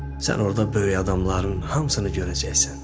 Sən orda böyük adamların hamısını görəcəksən.